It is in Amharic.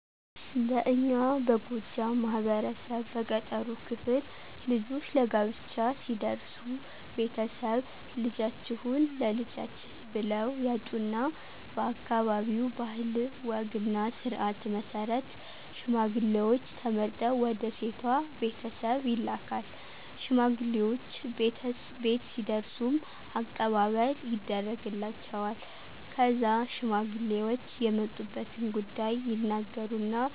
በእኛ በጎጃም ማህበረሰብ በገጠሩ ክፍል ልጆች ለጋብቻ ሲደርሱ ቤተሰብ፣ ልጃችሁን ለልጃችን ብለው ያጩና በአካባቢው ባህል ወግና ስርዓት መሰረት ሽማግሌውች ተመርጠው ወደ ሴቷ ቤተሰብ ይላካል። ሽማግሌውች ቤት ሲደርሱም አቀባበል ይደርግላቸዋል። ከዛ ሽማግሌውች የመጡበትን ጉዳይ ይናገሩና